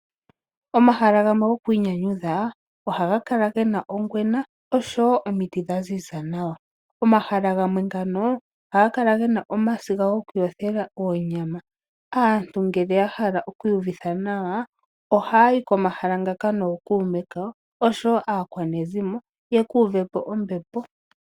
Omahala gamwe gokwiinyanyudha ohaga kala gena ongwena oshowo omiti dhaziza nawa. Omahala gamwe ohaga kala gena omasiga gokuyothela oonyama. Aantu ngele yahala owiuyuvitha nawa ohayayi komahala ngaka nookuume kawo oshowo aakwanezimo yekuuvepo ombepo.